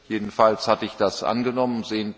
jedenfalls hatte ich das angenommen